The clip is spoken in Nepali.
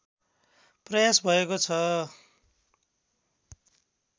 प्रयास भएको छ